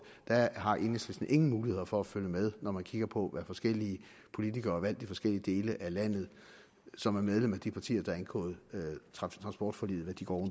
har enhedslisten ingen muligheder for at følge med når man kigger på hvad forskellige politikere valgt i forskellige dele af landet som er medlemmer af de partier der har indgået transportforliget går